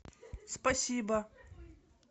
спасибо